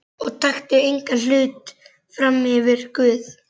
Og taktu engan hlut frammyfir Guð.